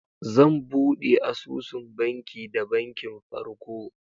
Zan bude asusun banki da bankin farko.